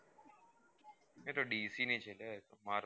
એ તો dc છે marvel